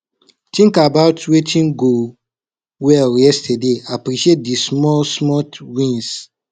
tink about wetin go well yestaday appreciate di small small wins